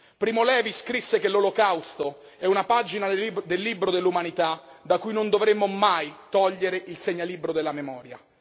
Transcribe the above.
Primo Levi scrisse che l'olocausto è una pagina del libro dell'umanità da cui non dovremmo mai togliere il segnalibro della memoria.